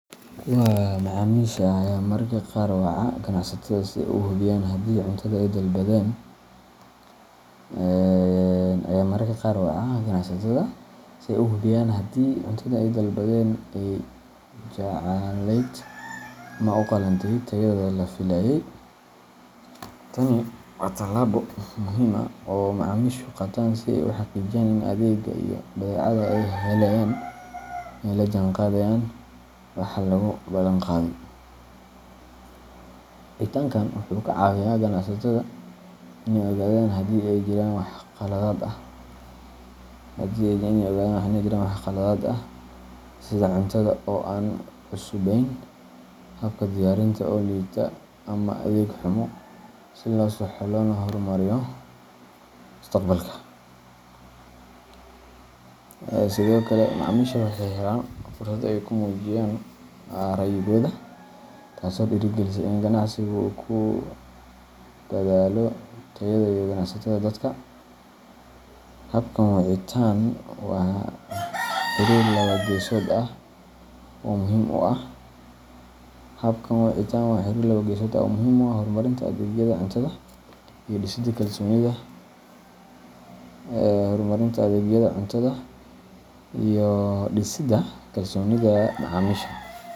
Kuwo macaamiisha ah ayaa mararka qaar waca ganacsatada si ay u hubiyaan haddii cuntada ay dalbadeen ay jacelayd ama u qalantay tayada la filayay. Tani waa tallaabo muhiim ah oo ay macaamiishu qaataan si ay u xaqiijiyaan in adeegga iyo badeecada ay helayaan ay la jaanqaadayaan waxa lagu balan qaaday. Wicitaankan wuxuu ka caawiyaa ganacsatada inay ogaadaan haddii ay jiraan wax khaladaad ah, sida cuntada oo aan cusubayn, habka diyaarinta oo liita, ama adeeg xumo, si loo saxo loona horumariyo mustaqbalka. Sidoo kale, macaamiisha waxay helaan fursad ay ku muujiyaan ra’yigooda, taasoo dhiirrigelisa in ganacsiga uu ku dadaalo tayada iyo qanacsanaanta dadka. Habkan wicitaan waa xiriir laba-geesood ah oo muhiim u ah horumarinta adeegyada cuntada iyo dhisida kalsoonida macaamiisha.